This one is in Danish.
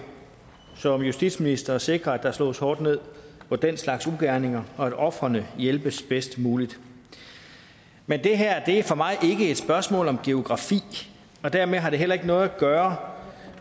som justitsminister at sikre at der slås hårdt ned på den slags ugerninger og at ofrene hjælpes bedst muligt men det her er for mig ikke et spørgsmål om geografi og dermed har det heller ikke noget at gøre